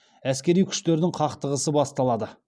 әскери күштердің қақтығысы басталады